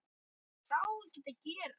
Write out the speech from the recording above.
Maður má ekkert gera.